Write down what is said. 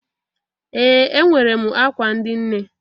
Ee! Enwere m akwa ndị nne.